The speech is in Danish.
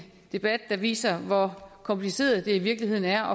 debat der viser hvor kompliceret det i virkeligheden er